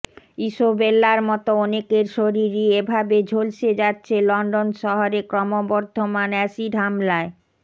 ইসোবেল্লার মতো অনেকের শরীরই এভাবে ঝলসে যাচ্ছে লন্ডন শহরে ক্রমবর্ধমান এসিড হামলায়